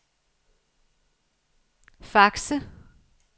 Fakse